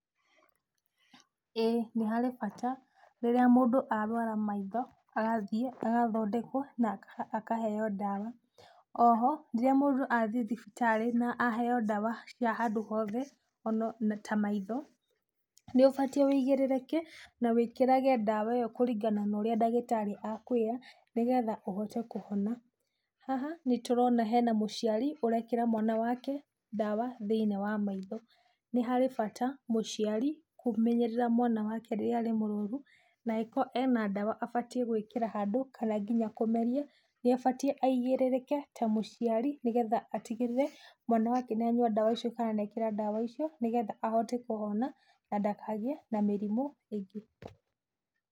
Ĩĩ nĩ harĩ bata, rĩrĩa mũndũ arũara maitho agathiĩ agathondekwo na akaheo ndawa. Oho, rĩrĩa mũndũ athiĩ thibitarĩ na aheo ndawa cia handũ hothe ta maitho, nĩ ũbatiĩ ũigĩrĩrĩke na wĩkĩrage ndawa ĩo kũringana na ũrĩa ndagĩtarĩ akwĩra nĩgetha ũhote kũhona. Haha nĩtũrona he na mũciari ũrekĩra mwana wake ndawa thĩiniĩ wa maitho. Nĩ harĩ bata mũciari kũmenyerera mwana wake rĩrĩa arĩ mũrũaru na agĩkorwo ena ndawa abatiĩ gwĩkĩra handũ kana nginya kũmeria, nĩ abatiĩ aigĩrĩrĩke ta mũciari nĩ getha atigĩrĩre mwana wake nĩ anyua ndawa icio kana nĩ ekĩra ndawa icio nĩ getha ahote kũhona na ndakagĩe na mĩrĩmũ ĩngĩ.